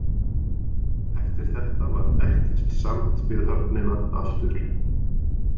Eftir þetta varð ekkert samt við höfnina aftur.